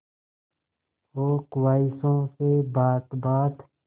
हो ख्वाहिशों से बात बात